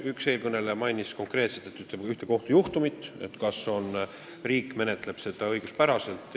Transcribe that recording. Üks eelkõneleja mainis konkreetselt ühte kohtujuhtumit, küsides, kas riik menetleb seda õiguspäraselt.